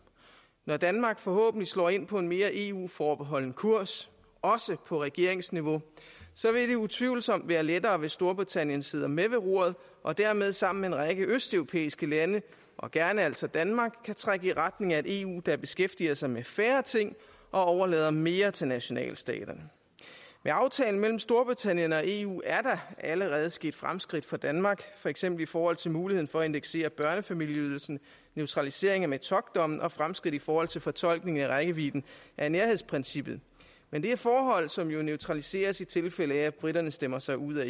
når danmark forhåbentlig slår ind på en mere eu forbeholden kurs også på regeringsniveau vil det utvivlsomt være lettere hvis storbritannien sidder med ved roret og dermed sammen med en række østeuropæiske lande og gerne altså danmark kan trække i retning af et eu der beskæftiger sig med færre ting og overlader mere til nationalstaterne med aftalen mellem storbritannien og eu er der allerede sket fremskridt for danmark for eksempel i forhold til muligheden for at indeksere børnefamilieydelsen neutraliseringen af metockdommen og fremskridt i forhold til fortolkningen af rækkevidden af nærhedsprincippet men det er forhold som jo neutraliseres i tilfælde af at briterne stemmer sig ud af